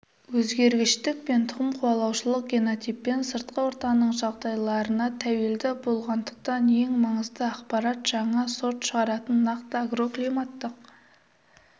өзгергіштік пен тұқым қуалаушылық генотиппен сыртқы ортаның жағдайларына тәуелді болғандықтан ең маңызды ақпарат жаңа сорт шығаратын нақты агроклиматтық